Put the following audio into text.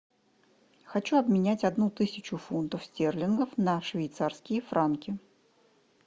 хочу обменять одну тысячу фунтов стерлингов на швейцарские франки